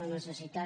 la necessitat